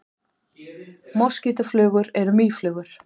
Moskítóflugur eru mýflugur.